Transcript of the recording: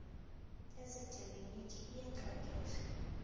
ya setleliniki e a hlokega